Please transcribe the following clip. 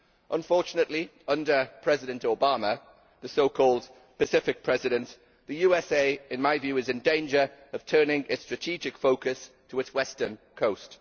Unfortunately under President Obama, the so called Pacific President, the USA in my view is in danger of turning its strategic focus to its western coast.